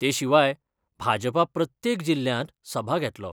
ते शिवाय भाजपा प्रत्येक जिल्ल्यात सभा घेतलो.